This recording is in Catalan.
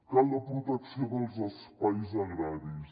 cal la protecció dels espais agraris